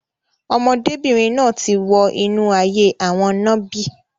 Ọmọdébìnrin náà ti wọ inú ayé òwò nàbì.